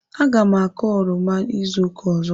Aga m akọ oroma izu ụka ọzọ.